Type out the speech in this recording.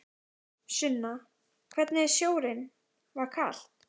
Sunna: Hvernig er sjórinn, var kalt?